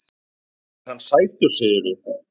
Er hann sætur, segirðu?